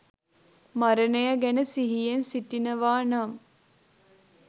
මරණය ගැන සිහියෙන් සිටිනවා නම්,